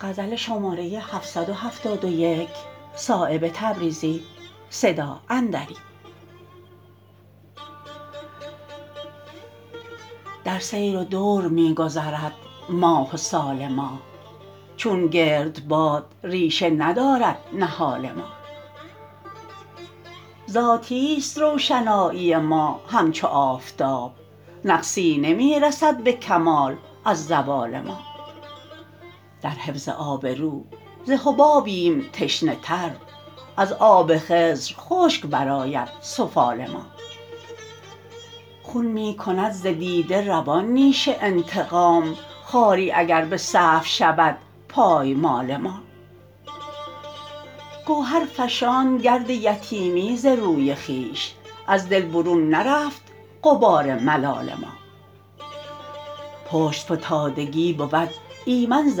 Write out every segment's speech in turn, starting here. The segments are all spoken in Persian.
در سیر و دور می گذرد ماه و سال ما چون گردباد ریشه ندارد نهال ما ذاتی است روشنایی ما همچو آفتاب نقصی نمی رسد به کمال از زوال ما در حفظ آبرو ز حبابیم تشنه تر از آب خضر خشک برآید سفال ما خون می کند ز دیده روان نیش انتقام خاری اگر به سهو شود پایمال ما گوهر فشاند گرد یتیمی ز روی خویش از دل برون نرفت غبار ملال ما پشت فتادگی بود ایمن ز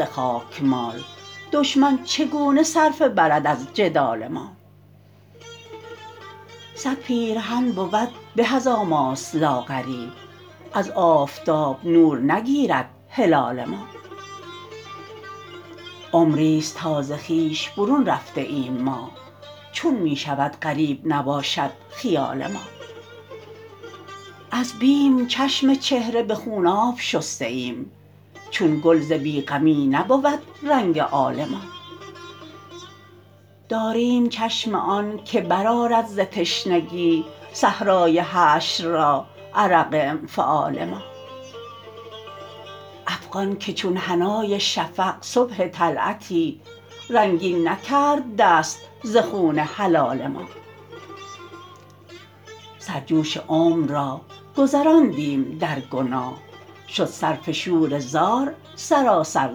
خاکمال دشمن چگونه صرفه برد از جدال ما صد پیرهن بود به از آماس لاغری از آفتاب نور نگیرد هلال ما عمری است تا ز خویش برون رفته ایم ما چون می شود غریب نباشد خیال ما از بیم چشم چهره به خوناب شسته ایم چون گل ز بی غمی نبود رنگ آل ما داریم چشم آن که برآرد ز تشنگی صحرای حشر را عرق انفعال ما افغان که چون حنای شفق صبح طلعتی رنگین نکرد دست ز خون حلال ما سر جوش عمر را گذراندیم در گناه شد صرف شوره زار سراسر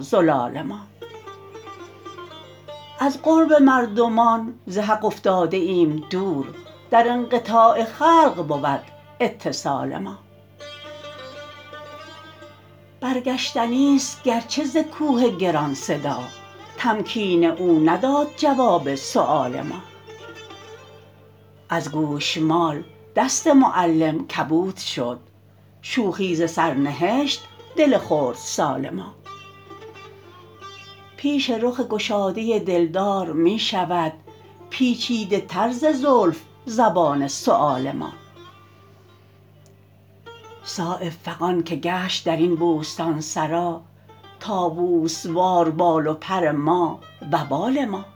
زلال ما از قرب مردمان ز حق افتاده ایم دور در انقطاع خلق بود اتصال ما برگشتنی است گرچه ز کوه گران صدا تمکین او نداد جواب سؤال ما از گوشمال دست معلم کبود شد شوخی ز سر نهشت دل خردسال ما پیش رخ گشاده دلدار می شود پیچیده تر ز زلف زبان سؤال ما صایب فغان که گشت درین بوستانسرا طاوس وار بال و پر ما و بال ما